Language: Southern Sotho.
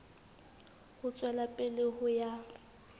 ho tswela pele ho ya